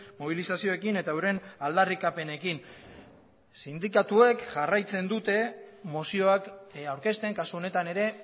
mobilizazioekin eta euren aldarrikapenekin sindikatuek jarraitzen dute mozioak aurkezten kasu honetan ere